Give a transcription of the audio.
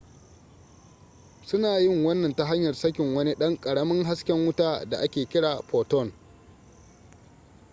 suna yin wannan ta hanyar sakin wani ɗan ƙaramin hasken wuta da ake kira photon